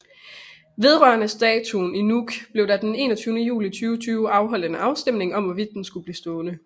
Vedrørende statuen i Nuuk blev der den 21 juli 2020 afholdt en afstemning om hvorvidt den skulle blive stående